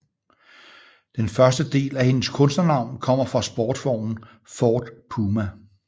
Den første del af hendes kunstnernavn kommer fra sportsvognen Ford Puma